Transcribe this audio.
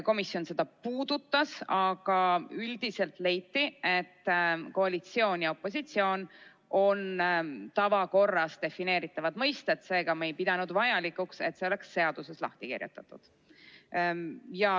Komisjon seda teemat puudutas, aga üldiselt leiti, et koalitsioon ja opositsioon on tavakorras defineeritavad mõisted, seega me ei pidanud vajalikuks, et need oleksid seaduses lahti kirjutatud.